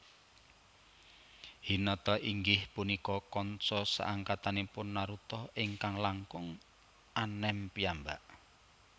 Hinata inggih punika kanca saangkatanipun Naruto ingkang langkung anem piyambak